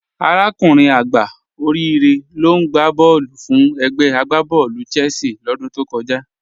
Arákùnrin àgbá Òríre ló n gbà bọ̀ọ̀lù fún ègbè àgbàbọ̀ọ̀lú Chelsea lódún tó kọ̀jà.